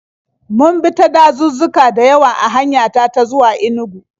Mun bi ta dazuzzuka da yawa a hanya ta ta zuwa Inugu.